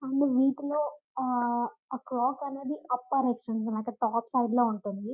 And వీటిలో ఆహ్ ఆ క్లోక్ అనేదే అప్పర్ అనమాట టాప్ సైడ్లో ఉంటుంది.